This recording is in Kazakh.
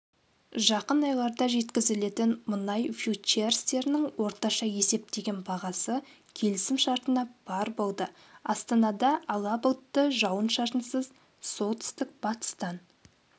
жақын айларда жеткізілетін мұнай фьючерстерінің орташа есептеген бағасы келісімшартына барр болды астанада ала бұлтты жауын-шашынсыз солтүстік-батыстан